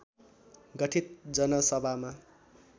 गठित जनसभामा